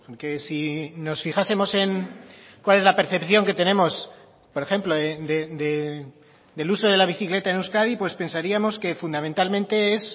que si nos fijásemos en cuál es la percepción que tenemos por ejemplo del uso de la bicicleta en euskadi pues pensaríamos que fundamentalmente es